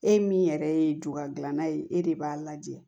E min yɛrɛ ye ju gilana ye e de b'a lajɛ